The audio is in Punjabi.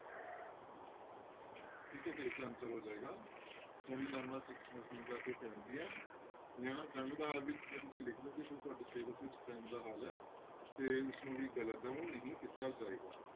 ਠੀਕ ਹੈ ਤੇ ਇਸਦਾ answer ਆ ਜਾਏਗਾ ਜੰਗਨਾਮਾ ਸਿੰਘਾਂ ਤੇ ਫਿਰੰਗੀਆਂ ਜਾਂ ਜੰਗ ਦਾ ਹਾਲ ਵੀ ਜੇ ਤੁਸੀਂ ਲਿਖ ਦਓ ਤੁਹਾਡੇ syllabus ਵਿੱਚ ਜੰਗ ਦਾ ਹਾਲ ਹੈ ਤੇ ਉਸਨੂੰ ਵੀ